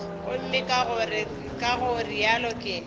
gomme ka go realo ke